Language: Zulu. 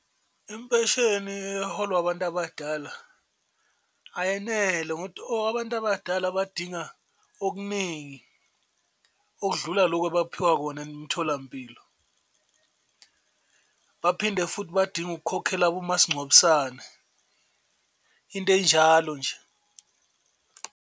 Impesheni eholwa abantu abadala ayenele abantu abadala badinga okuningi okudlula loku abaphiwa kona emitholampilo, baphinde futhi badinge ukukhokhela omasingcwabisane into enjalo nje.